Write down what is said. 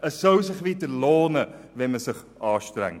Es soll sich wieder lohnen, wenn man sich anstrengt.